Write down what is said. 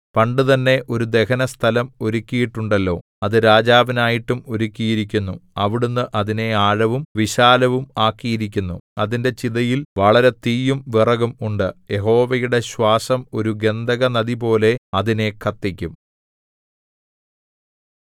പണ്ടുതന്നെ ഒരു ദഹനസ്ഥലം ഒരുക്കിയിട്ടുണ്ടല്ലോ അത് രാജാവിനായിട്ടും ഒരുക്കിയിരിക്കുന്നു അവിടുന്ന് അതിനെ ആഴവും വിശാലവും ആക്കിയിരിക്കുന്നു അതിന്റെ ചിതയിൽ വളരെ തീയും വിറകും ഉണ്ട് യഹോവയുടെ ശ്വാസം ഒരു ഗന്ധകനദിപോലെ അതിനെ കത്തിക്കും